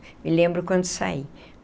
Me lembro quando saí.